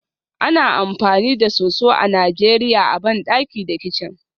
Ana amfani da soso a Najeriya a bandaki da kicin